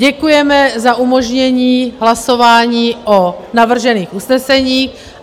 Děkujeme za umožnění hlasování o navržených usneseních.